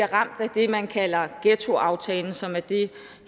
ramt af det man kalder ghettoaftalen som er det